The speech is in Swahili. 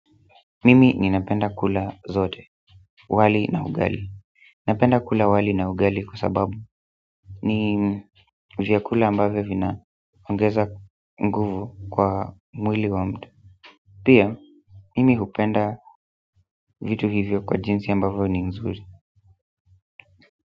Mimi ninapenda kula zote, wali na ugali ninapenda kula wali na ugali kwa sababu ni vyakula ambavyo vina ongeza nguvu kwa mwili wa mtu pia, mimi hupenda vitu hivyo kwa jinsi ambavyo ni nzuri.